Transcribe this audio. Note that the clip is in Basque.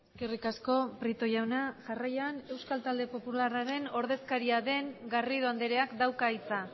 eskerrik asko prieto jauna jarraian euskal talde popularraren ordezkaria den garrido andreak dauka hitza